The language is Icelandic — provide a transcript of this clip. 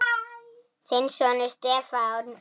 Þinn sonur, Stefán.